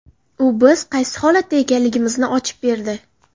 U biz qaysi holatda ekanligimizni ochib berdi.